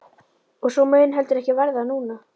Og svo mun heldur ekki verða núna!